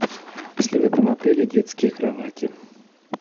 есть ли в этом отеле детские кровати